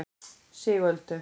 Sigöldu